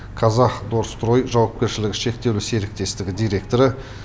казахдострой жауапкершілігі шектеулі серіктестігі директоры